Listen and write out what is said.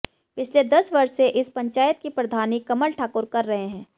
पिछले दस वर्ष से इस पंचायत की प्रधानी कमल ठाकुर कर रहे हैं